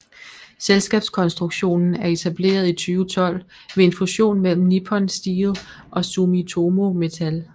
Selskabskonstruktionen er etableret i 2012 ved en fusion mellem Nippon Steel og Sumitomo Metal